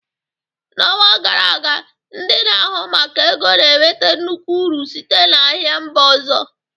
N'ọnwa gara aga, ndị na-ahụ maka ego na-enweta nnukwu uru site na ahia mba ọzọ